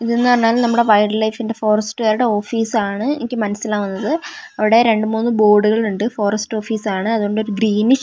ഇത് എന്ന് പറഞ്ഞാല് നമ്മുടെ വൈൽഡ് ലൈഫിന്റെ ഫോറസ്റ്റുകാരുടെ ഓഫീസ് ആണ് എനിക്ക് മനസ്സിലാകുന്നത് അവിടെ രണ്ടു മൂന്ന് ബോർഡുകൾ ഉണ്ട് ഫോറസ്റ്റ് ഓഫീസ് ആണ് അതുകൊണ്ട് ഒരു ഗ്രീനിഷ് --